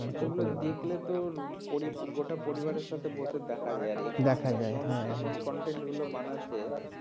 দেখলে তোর গোটা পরিবারের সঙ্গে বসে দেখা যায় আর এখানে এমন content গুলো বানাচ্ছে